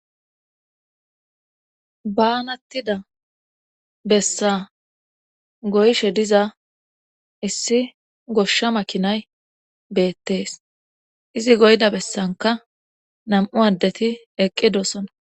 baanattida bessa goyshe diza issi goshsha makinay beettees izi goyda bessanka nam7u addeti eqqidosona